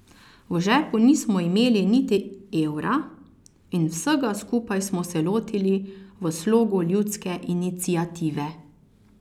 V žepu nismo imeli niti evra in vsega skupaj smo se lotili v slogu ljudske iniciative.